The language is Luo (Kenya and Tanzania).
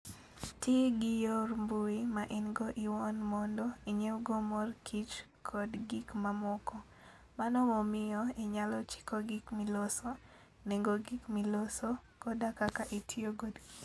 Ti gi yor mbui ma in go iwuon mondo inyiewgo mor kich kod gik mamoko. Mano miyo inyalo chiko gik miloso, nengo gik miloso, koda kaka itiyo kodgi.